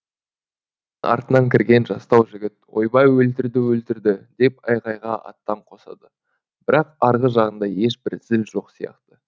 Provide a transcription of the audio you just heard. артынан кірген жастау жігіт ойбай өлтірді өлтірді деп айғайға аттан қосады бірақ арғы жағында ешбір зіл жоқ сияқты